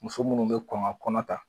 Muso munnu be kɔn ka kɔnɔ ta.